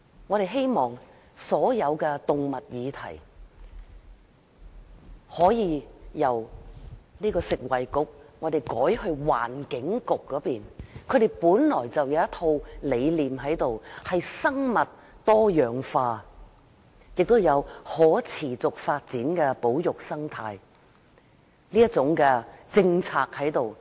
我們希望把所有有關動物的事宜，由食物及衞生局轉交環境局處理，環境局本來就有一套生物多樣化的理念，亦有可持續發展的保育生態政策。